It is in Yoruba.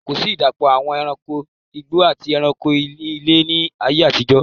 Kòsí ìdàpọ̀ àwọn ẹranko igbó àti ẹranko ilé ni ààyè àtijọ́.